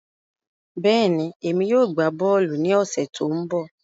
Bẹ́ẹ̀ni, èmi yóò gbá bọ́ọ̀lù ní ọ̀sẹ̀ tó ń bọ̀